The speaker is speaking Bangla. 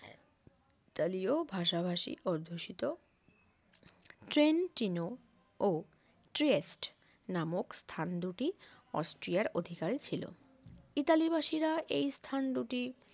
ইতালীয় ভাষাভাষী অধ্যুষিত ট্রেনটিনো ও ট্রেস্ট নামক স্থান দুটি অস্ট্রিয়ার অধিকারী ছিল ইতালি বাসী রা এই স্থান দুটি